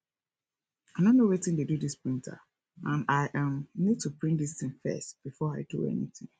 i no know wetin dey do dis printer and i um need to print dis thing first before i do anything